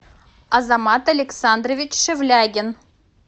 азамат александрович шевлягин